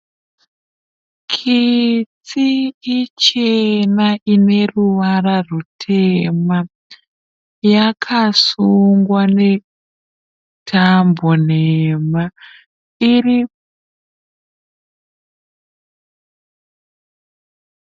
Kitsi ichena ineruvara rwutema. Yakasungwa netambo nhema.